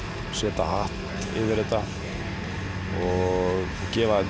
setja hatt yfir þetta og gefa þetta